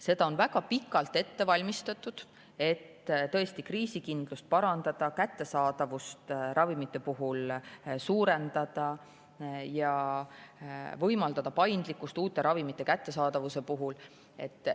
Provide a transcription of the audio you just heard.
Seda on väga pikalt ette valmistatud, et tõesti kriisikindlust suurendada ja ravimite kättesaadavust parandada, samuti võimaldada paindlikkust uute ravimite.